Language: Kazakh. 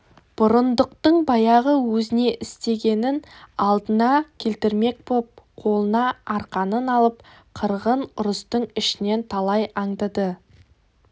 бұрындықтың баяғы өзіне істегенін алдына келтірмек боп қолына арқанын алып қырғын ұрыстың ішінен талай аңдыды